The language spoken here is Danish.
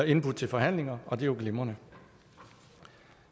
indbudt til forhandlinger og det er jo glimrende